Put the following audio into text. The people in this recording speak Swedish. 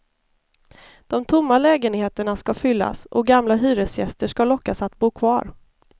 De tomma lägenheterna ska fyllas och gamla hyresgäster ska lockas att bo kvar.